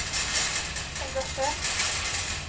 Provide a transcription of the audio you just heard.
engasjert